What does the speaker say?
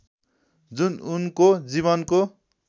जुन उनको जीवनको